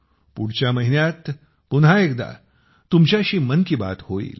पुढच्या महिन्यात पुन्हा एकदा तुमच्याशी मन की बात होईल